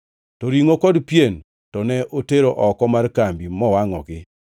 To ringʼo kod piem to ne otero oko mar kambi mowangʼogi.